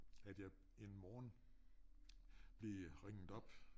At jeg en morgen blev ringet op